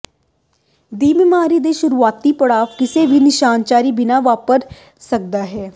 ਦੀ ਬਿਮਾਰੀ ਦੇ ਸ਼ੁਰੂਆਤੀ ਪੜਾਅ ਕਿਸੇ ਵੀ ਨਿਸ਼ਾਨੀ ਬਿਨਾ ਵਾਪਰ ਸਕਦਾ ਹੈ